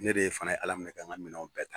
Ne de ye fana ye Ala minɛ ka n ka minɛn bɛɛ tan